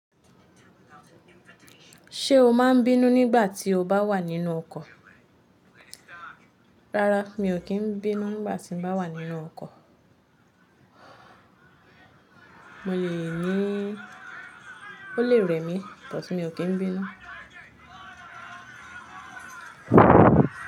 Ṣé o máa n bínú nígbà tí o bá wà nínú ọkọ̀ Rárá, mi ò kí n bínú nígbà tí n bá wà nínú ọkọ̀. Mo lè ní ó lè rẹ̀ mí, ṣùgbọ́n mi ò kí n bínú.